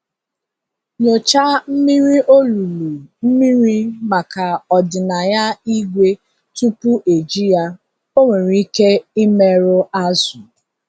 Nyochaa mmiri olulu mmiri maka ọdịnaya ígwè tupu eji ya, ọ nwere ike imerụ azụ̀.